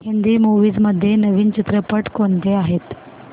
Hindi movies मध्ये नवीन चित्रपट कोणते आहेत